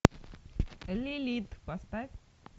лилит поставь